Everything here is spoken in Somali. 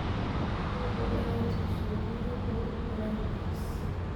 Hubi inaad siiso biyo kugu filan chicks.